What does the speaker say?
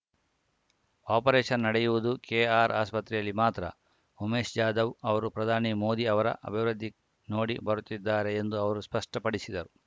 operation ನಡೆಯುವುದು K R ಆಸ್ಪತ್ರೆಯಲ್ಲಿ ಮಾತ್ರ ಉಮೇಶ್‌ ಜಾಧವ್‌ ಅವರು ಪ್ರಧಾನಿ ಮೋದಿ ಅವರ ಅಭಿವೃದ್ಧಿ ನೋಡಿ ಬರುತ್ತಿದ್ದಾರೆ ಎಂದು ಅವರು ಸ್ಪಷ್ಟಪಡಿಸಿದರು